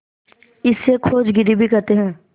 इसे खोजागिरी भी कहते हैं